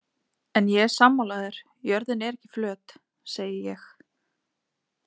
En ég er sammála þér, jörðin er ekki flöt, segi ég.